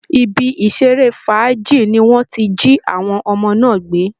Ibi ìṣeré fàájì ni wọ́n ti jí àwọn ọmọ náà gbé